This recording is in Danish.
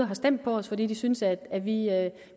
har stemt på os fordi de synes at at vi